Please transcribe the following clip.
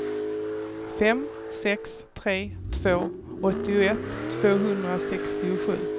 fem sex tre två åttioett tvåhundrasextiosju